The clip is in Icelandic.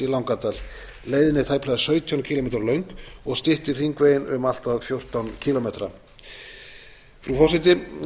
í langadal leiðin er tæplega sautján kílómetra löng og styttir hringveginn um allt að fjórtán kílómetra frú forseti